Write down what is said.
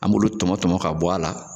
An b'olu tɔmɔ tɔmɔ ka bɔ a la.